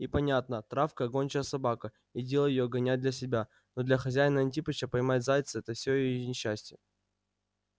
и понятно травка гончая собака и дело её гонять для себя но для хозяина антипыча поймать зайца это всё её несчастье